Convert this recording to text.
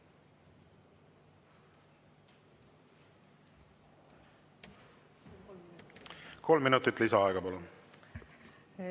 Kolm minutit lisaaega, palun!